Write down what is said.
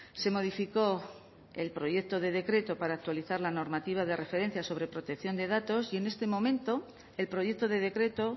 se modificó el proyecto de decreto para actualizar la normativa de referencia sobre protección de datos y en este momento el proyecto de decreto